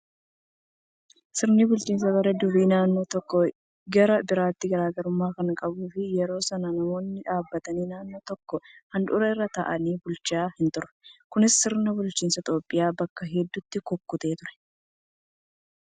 Sirni bulchiinsa bara durii naannoo tokkoo gara biraatti garaagarummaa kan qabuu fi yeroo sana namoonni dhaabbataan naannoo tokko handhuura irra taa'anii bulchan hin turre. Kunis sirna bulchiinsaa Itoophiyaa bakka hedduutti kukkutee ture.